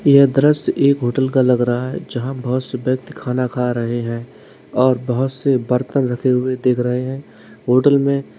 ये दृश्य एक होटल का लगा रहा है जहां बहोत से व्यक्ति खाना खा रहे हैं और बहोत से बर्तन रखे हुए दिख रहे हैं होटल में--